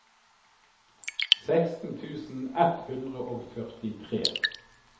seksten tusen ett hundre og førtitre